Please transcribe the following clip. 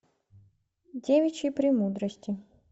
девичьи премудрости